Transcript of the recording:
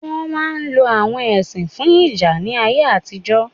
Wọn máà ń lo awon ẹṣin fún ìjà ní ayé àtijọ́